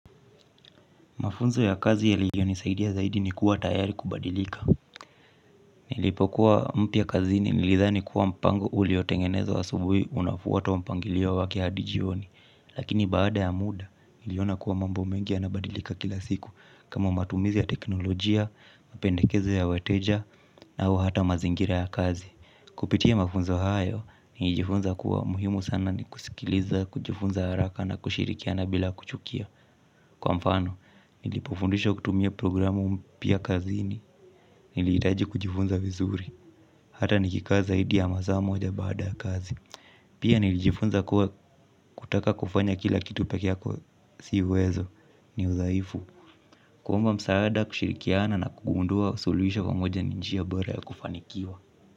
Mafunzo ya kazi yaliyo nisaidia ya zaidi ni kuwa tayari kubadilika. Nilipokuwa mpya kazini nilidhani kuwa mpango uliotengenezwa asubuhi unafuatwa mpangilio wake hadi jioni. Lakini baada ya muda, niliona kuwa mambo mengi yanabadilika kila siku. Kama matumizi ya teknolojia, mapendekezo ya wateja, au hata mazingira ya kazi. Kupitia mafunzo hayo, nilijifunza kuwa muhimu sana ni kusikiliza, kujifunza haraka na kushirikiana bila kuchukia. Kwa mfano, nilipofundishwa kutumia programu mpya kazini, nilihitaji kujifunza vizuri, hata nikikaa zaidi ya masaa moja baada kazi. Pia nilijifunza kuwa, kutaka kufanya kila kitu pekee yako sio uwezo ni udhaifu. Kuomba msaada, kushirikiana na kugundua suluhisho pamoja ni njia bora ya kufanikiwa.